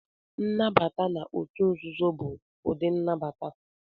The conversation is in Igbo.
Nnabata na otu nzuzo bụ ụdị nnabata.